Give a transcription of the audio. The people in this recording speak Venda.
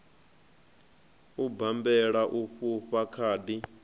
u bammbela u fhufha khadi